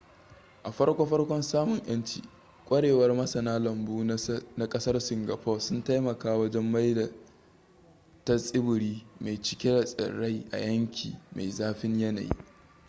a farko farkon samun yanci kwarewar masana lambu na kasar singapore sun taimaka wajen maida ta tsibiri mai cike da tsirrai a yanki mai zafin yanayi